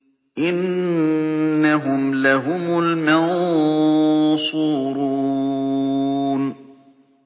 إِنَّهُمْ لَهُمُ الْمَنصُورُونَ